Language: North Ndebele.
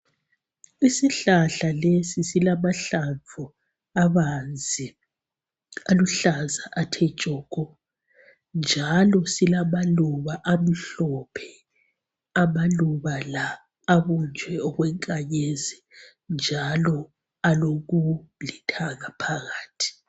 Isihlahla lesi silamahlamvu abanzi aluhlaza athe tshoko .Njalo silamaluba amhlophe amaluba la abunjwe okwenkanyezi .Njalo alokulithanga phakathi .